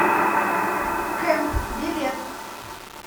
кэмп билет